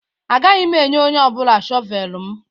Agaghị m enye onye ọ bụla shọvel m.